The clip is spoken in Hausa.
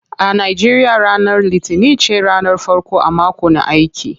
A Nigeria ranar litinin ce ranar farko a mako na aiki.